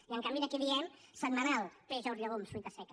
i en canvi aquí diem setmanal peix ous llegums fruita seca